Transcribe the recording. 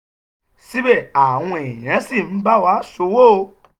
síbẹ̀ àwọn èèyàn ṣì ń bá wa ṣe òwò.